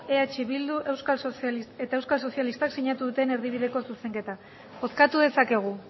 eh bildu eta euskal sozialistak sinatu duten erdibideko zuzenketa bozkatu dezakegu